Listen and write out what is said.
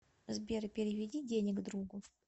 сбер переведи денег другу